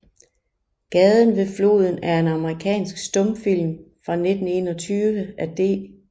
Gaden ved Floden er en amerikansk stumfilm fra 1921 af D